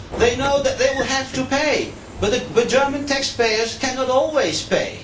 They know that they will have to pay, but German taxpayers cannot always pay.